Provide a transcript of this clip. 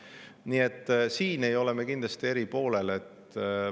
Nii et siin ei ole me kindlasti eri poolel.